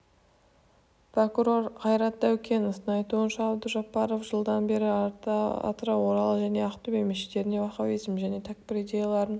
прокурор қайрат дәукеновтың айтуынша абдужаббаров жылдан бері атырау орал және ақтөбе мешіттерінде уаххабизм және тәкпір идеяларын